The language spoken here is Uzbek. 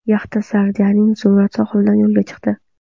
Yaxta Sardiniyaning Zumrad sohilidan yo‘lga chiqdi.